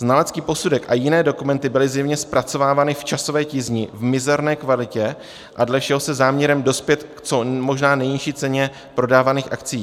Znalecký posudek a jiné dokumenty byly zjevně zpracovávány v časové tísni, v mizerné kvalitě a dle všeho se záměrem dospět k co možná nejnižší ceně prodávaných akcií.